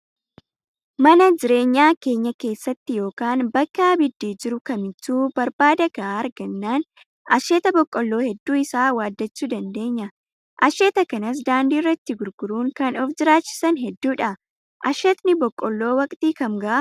Mana jireenyaa keenya keessatti yookaan bakka abiddi jiru kamittuu barbada gahaa argannaan asheeta boqqoolloo hedduu isaa waaddachuu dandeenya. Asheeta kanas daandii irratti gurguruun kan of jiraachisan hedduudha. Asheetni boqqoolloo waqtii kam gahaa?